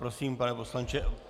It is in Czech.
Prosím, pane poslanče.